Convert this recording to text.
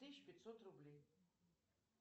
тысяча пятьсот рублей